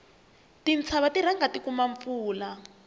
tintshava ti rhanga ti kuma mpfula